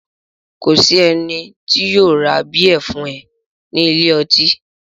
Kò ní sí ẹni tí yóò ra bíẹ̀ fún ẹ ní ilé ọtí